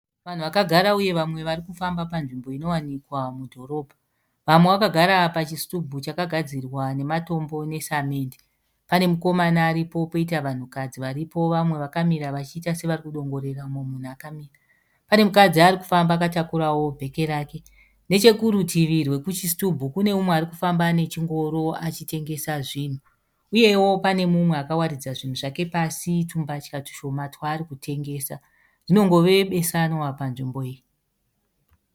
Vanhu vakagara uye vamwe varikufamba panzvimbo inowanikwa mudhorobha. Vamwe vakagara pachisitubhu chakagadzirwa nematombo nesamende. Panemukomana aripo poita vanhukadzi varipo vamwe vakamira vachiita sevarikudongorera mumwe munhu akamira. Panemukadzi arikufamba akatakura bheke rake. Nechekurutivi rwekuchisitubhu kune umwe arikufamba nechingoro achitengesa zvinhu. Uyewo pane mumwe akawaridza zvinhu zvake pasi tumbatya tushoma twaari kutengesa. Rinongove besanwa panzvimbo iyi.